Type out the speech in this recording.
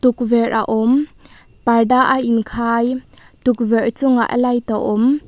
tukverh a awm parda a in khai tukverh chungah light a awm.